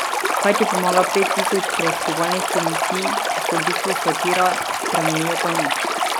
Kaj ti pomaga pet tisoč preiskovalnih komisij, ki so v bistvu satira, spremenijo pa nič.